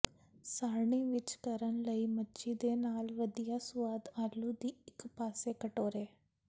ਸਾਰਣੀ ਵਿੱਚ ਕਰਨ ਲਈ ਮੱਛੀ ਦੇ ਨਾਲ ਵਧੀਆ ਸੁਆਦ ਆਲੂ ਦੀ ਇੱਕ ਪਾਸੇ ਕਟੋਰੇ